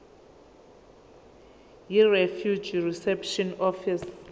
yirefugee reception office